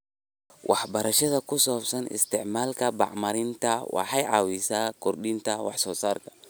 Waxbarashada ku saabsan isticmaalka bacriminta waxay caawisaa kordhinta wax soo saarka.